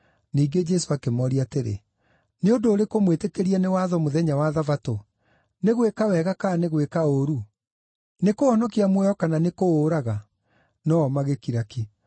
Ningĩ Jesũ akĩmooria atĩrĩ, “Nĩ ũndũ ũrĩkũ mwĩtĩkĩrie nĩ watho mũthenya wa Thabatũ; nĩ gwĩka wega kana nĩ gwĩka ũũru, nĩ kũhonokia muoyo kana nĩ kũũraga?” No-o magĩkira ki.